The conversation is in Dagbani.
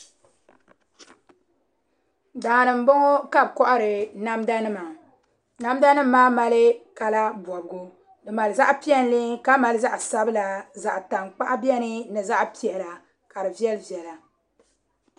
Daani n bɔŋɔ ka bi kohari namda nima namda nim maa mali kala bobgu di mali zaɣ piɛlli ka mali zaɣ sabila zaɣ tankpaɣu biɛni ni zaɣ sabila ka di viɛli viɛla